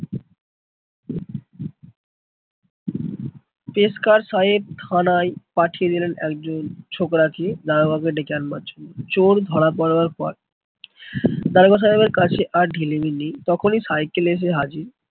পেশকার সাহেব থানা পাঠিয়ে দিলেন একজন ছোকরা কে দারোগা কে ডেকে আনবার জন্য। চোর ধরা পড়বার পর দারোগা সাহেবের কাজে আর ঢিলেমি নেই, তখনি সাইকেলে এসে হাজির।